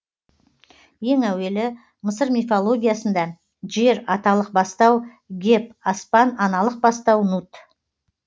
ең әуелі мысыр мифологиясында жер аталық бастау геб аспан аналық бастау нут